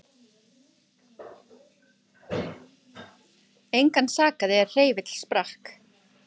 Engan sakaði er hreyfill sprakk